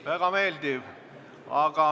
Väga meeldiv!